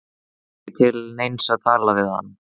Það var ekki til neins að tala við hann.